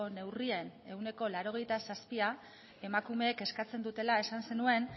neurrien ehuneko laurogeita zazpia emakumeek eskatzen dutela esan zenuen